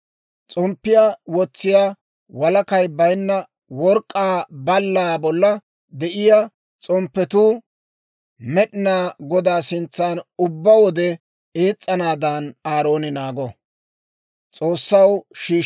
S'omppiyaa wotsiyaa, walakay bayinna work'k'aa ballaa bolla de'iyaa s'omppetuu Med'inaa Godaa sintsan ubbaa wode ees's'anaadan Aarooni naago.